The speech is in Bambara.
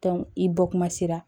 i bɔ kuma sera